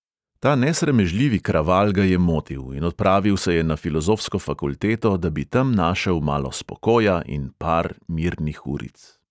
Ta nesramežljivi kraval ga je motil, in odpravil se je na filozofsko fakulteto, da bi tam našel malo spokoja in par mirnih uric.